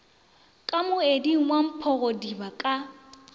ka moeding wa mphogodiba ka